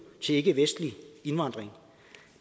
til ikkevestlig indvandring